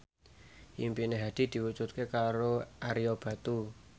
impine Hadi diwujudke karo Ario Batu